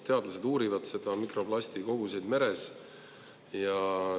Teadlased uurivad mikroplasti koguseid meres.